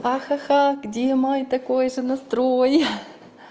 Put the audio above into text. ха-ха где мой такой же настрой